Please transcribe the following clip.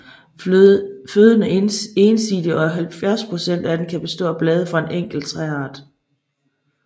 Føden er ensidig og 70 procent af den kan bestå af blade fra en enkelt træart